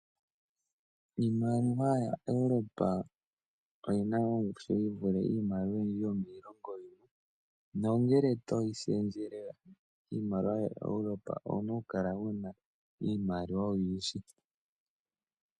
Iimaliwa yaEuropa oyina ongushu yivule iimaliwa oyindji yomiilongo yimwe. Nongele toyi shendjele miimaliwa yaEuropa owuna okukala wuna iimaliwa oyindji.